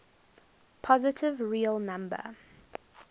positive real number